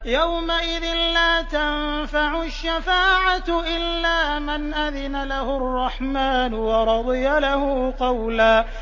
يَوْمَئِذٍ لَّا تَنفَعُ الشَّفَاعَةُ إِلَّا مَنْ أَذِنَ لَهُ الرَّحْمَٰنُ وَرَضِيَ لَهُ قَوْلًا